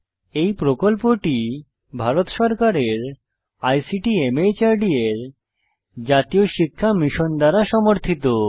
এই প্রকল্পটি ভারত সরকারের আইসিটি মাহর্দ এর জাতীয় শিক্ষা মিশন দ্বারা সমর্থিত